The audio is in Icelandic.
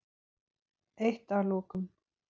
Eitt að lokum.